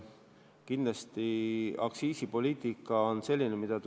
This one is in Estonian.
Kindlasti tuleb aktsiisipoliitika mõju kogu aeg jälgida.